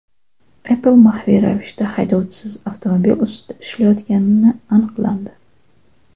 Apple maxfiy ravishda haydovchisiz avtomobil ustida ishlayotgani aniqlandi.